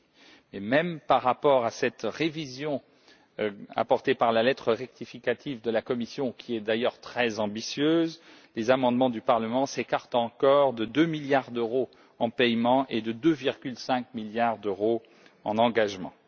Mais même par rapport à cette révision apportée par la lettre rectificative de la Commission, qui est d'ailleurs très ambitieuse, les amendements du Parlement s'écartent encore de 2 milliards d'euros en paiements et de 2,5 milliards d'euros en engagements.